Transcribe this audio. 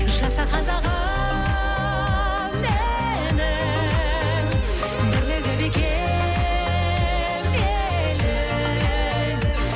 жаса қазағым менің бірлігі бекем елім